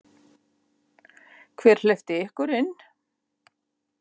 Hver hleypti ykkur inn?